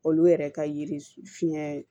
Olu yɛrɛ ka yiri fiɲɛ